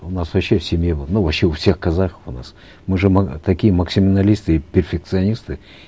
у нас вообще в семье было ну вообще у всех казахов у нас мы же такие и перфекционисты